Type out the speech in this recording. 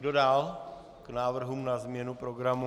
Kdo dál k návrhům na změnu programu?